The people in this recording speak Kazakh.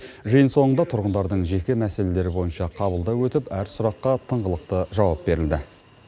жиын соңында тұрғындардың жеке мәселелері бойынша қабылдау өтіп әр сұраққа тыңғылықты жауап берілді